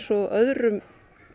og öðrum